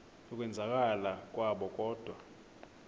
yokwenzakala kwabo kodwa